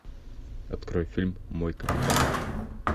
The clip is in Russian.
открой фильм мой капитан